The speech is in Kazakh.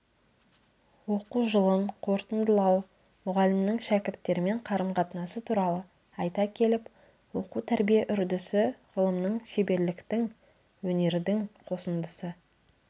оқу жылын қорытындылау мұғалімнің шәкірттермен қарым-қатынасы туралы айта келіп оқу-тәрбие үрдісі ғылымның шеберліктің өнердің қосындысы